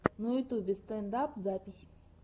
на ютюбе стэнд ап запись